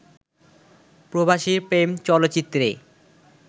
প্রবাসীর প্রেম চলচ্চিত্রে